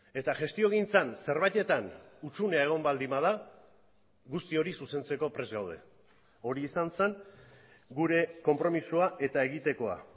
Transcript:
eta gestiogintzan zerbaitetan hutsunea egon baldin bada guzti hori zuzentzeko prest gaude hori izan zen gure konpromisoa eta egitekoa